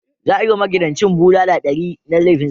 Za a yi wa magidancin bulala ɗari na laifin zina.